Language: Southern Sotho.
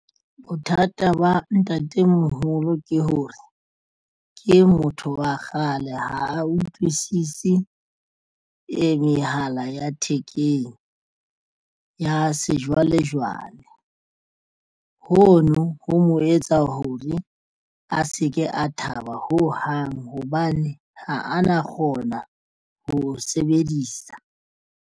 Bothata ba ntatemoholo ke hore ke motho wa kgale ha a utlwisise e mehala ya thekeng ya sejwalejwale hono ho mo etsa hore a se ke a thaba ho hang hobane ha a na kgona ho sebedisa.